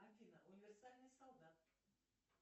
афина универсальный солдат